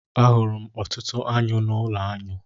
A hụrụ m ọtụtụ aṅụ n'ụlọ aṅụ